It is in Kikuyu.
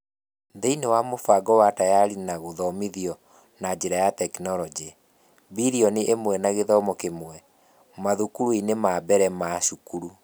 Thĩinĩ wa mũbango wa Tayari na gũthomithio na njĩra ya tekinoronjĩ (mbilioni ĩmwe na gĩthomo kĩmwe) mathukuru-inĩ ma mbere ma cukuru.